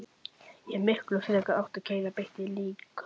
Ég hefði miklu frekar átt að keyra beint í líkhúsið.